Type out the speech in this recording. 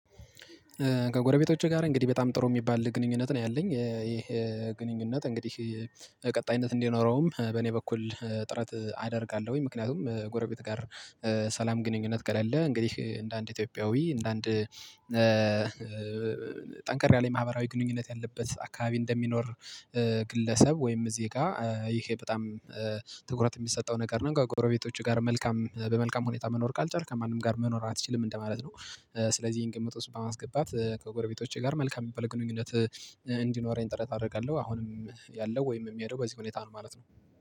ከጎረቤቶቼ ጋር እንግዲህ በጣም ጥሩ የሚባል ግንኙነት ነው ያለኝ። ይሄ ግንኙነት እንግዲህ ቀጣይነት እንዲኖረውም በእኔ በኩል ጥረት አደርጋለሁኝ። ምክንያቱም ጎረቤት ጋር ሰላም ግንኙነት ከሌለ እንግዲህ እንደ አንድ ኢትዮጵያዊ እንደ አንድ ጠንካራ ላይ ማህበራዊ ግንኙነት ያለበት አካባቢ እንደሚኖር ግለሰብ ወይም ዜጋ ይሄ በጣም ትኩረት የሚሰጠው ነገር ነው ከጎረቤቶችህ ጋር መልካም በመልካም ሁኔታ መኖር ካልቻልክ በመልካም ሁኔታ መኖር አትችልም እንደማለት ነው። ስለዚህ ይሄን ግምት ውስጥ በማስገባት ከጎረቤቶቼ ጋር መልካም የሚባል ግኑኝነት እንዲኖረኝ ጥረት አደርጋለሁ። አሁንም ያለው ወይም የሚሄደው በዚህ ሁኔታ ነው ማለት ነው።